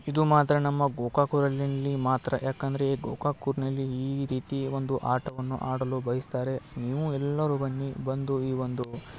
ಇದು ಮಾತ್ರ ನಮ್ಮ ಗೋಕಾಕ್ ಊರಿನಲ್ಲಿ ಮಾತ್ರ ಯಾಕಂದ್ರೆ ಗೋಕಾಕ್ ಊರ್ನಲ್ಲಿ ಈ ರೀತಿ ಒಂದು ಆಟವನ್ನು ಆಡಲು ಬಯಸ್ತಾರೆ. ನೀವು ಎಲ್ಲರೂ ಬನ್ನಿ ಬಂದು ಈ ಒಂದು --